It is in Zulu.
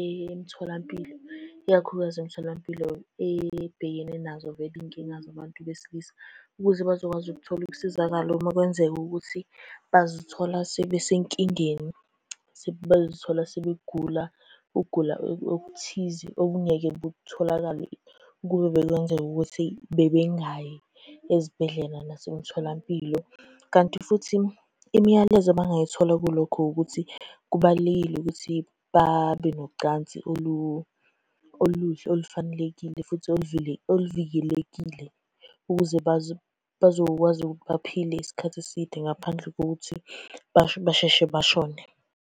emtholampilo. Ikakhulukazi emtholampilo ebhekene nazo vele iy'nkinga zabantu besilisa, ukuze bazokwazi ukuthola ukusizakala uma kwenzeka ukuthi bazithola sebesenkingeni. Sebazithola sebegula, ukugula okuthize okungeke butholakala ukube bekwenzeka ukuthi bebengayi ezibhedlela nasemtholampilo. Kanti futhi imiyalezo abangayithola kulokho ukuthi kubalulekile ukuthi babe nocansi oluhle olufanelekile, futhi oluvikelekile, ukuze bazokwazi ukuthi baphile isikhathi eside ngaphandle kokuthi basheshe bashone.